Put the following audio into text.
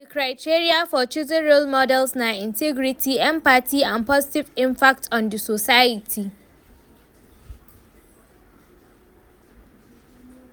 di criteria for choosing role models na integrity, empathy and positive impact on di society.